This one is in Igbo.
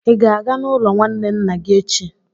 ị ga-aga n'ụlọ nwanne nna gị echi?